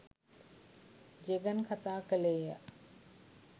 ජෙගන් කතා කළේය.